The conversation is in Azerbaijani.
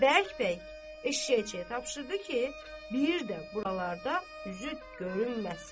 Və bərk-bərk eşşəkçiyə tapşırdı ki, bir də buralarda üzü görünməsin.